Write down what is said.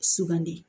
Sugandi